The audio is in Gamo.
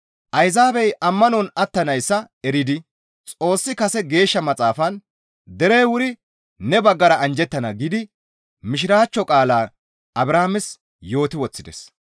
Ayzaabey ammanon attanayssa eridi Xoossi kase Geeshsha Maxaafan, «Derey wuri ne baggara anjjettana» giidi Mishiraachcho qaalaa Abrahaames yooti woththides.